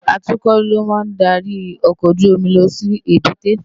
Àtúkò ló má n dàrí òkòójùómì lòsí ébùté